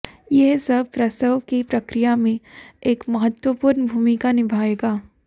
यह सब प्रसव की प्रक्रिया में एक महत्वपूर्ण भूमिका निभाएगा